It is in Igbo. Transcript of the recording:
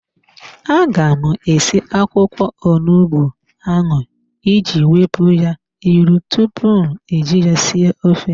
A ga m esi akwụkwọ onugbu ahụ iji wepụ ya ilu tupu m eji ya sie ofe.